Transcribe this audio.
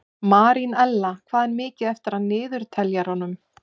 Marínella, hvað er mikið eftir af niðurteljaranum?